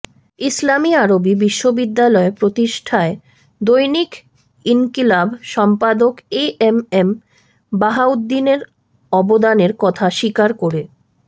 ইসলামি আরবি বিশ্ববিদ্যালয় প্রতিষ্ঠায় দৈনিক ইনকিলাব সম্পাদক এ এম এম বাহাউদ্দীনের অবদানের কথা স্বীকার করে